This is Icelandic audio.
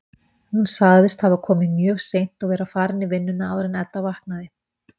Hún sagðist hafa komið mjög seint og verið farin í vinnuna áður en Edda vaknaði.